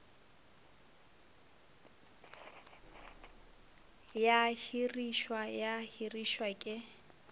ya hirišwa ya hirišwa ke